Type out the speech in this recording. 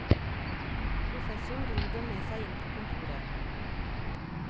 Professoren dro dem med seg inn på kontoret.